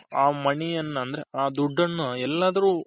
ಆ money ಯನ್ನ ಅಂದ್ರೆ ಆ ದುಡ್ಡನ್ನ ಎಲ್ಲಾದರು